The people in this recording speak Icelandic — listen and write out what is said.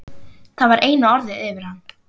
Það var eina orðið yfir hann.